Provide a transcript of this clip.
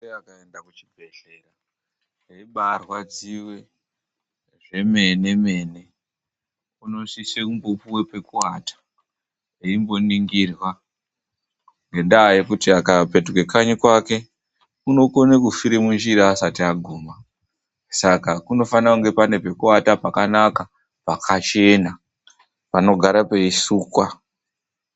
Mur were akaenda kuchibhedhlera, eibaarwadziwa zvemene-mene. Unosise kumbopuwe pekuwata eimboningirwa. Ngendaa yekuti akapetuka kanyi kwake, unokona kufira munjira asati aguma. Saka kunofane kuine pekuwata pakanaka pakachena panogara peisukwa.